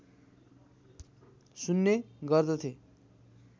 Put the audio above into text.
सुन्ने गर्दथे